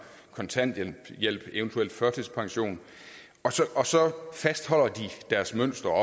kontanthjælp og eventuelt førtidspension og så fastholder de deres mønster